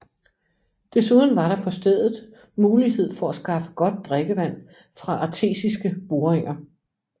Desuden var der på stedet mulighed for at skaffe godt drikkevand fra artesiske boringer